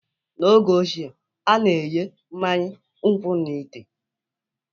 N'oge ochie, a na-enye mmanya nkwụ n'ite